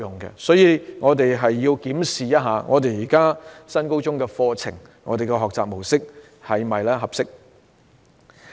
因此，我們必須檢視現時的新高中課程和學習模式是否合適。